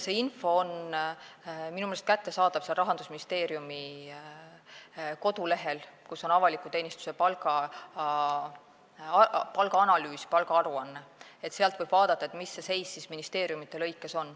See info on minu meelest kättesaadav Rahandusministeeriumi kodulehel, seal, kus on avaliku teenistuse palgaaruanne, sealt võib vaadata, mis see seis ministeeriumides on.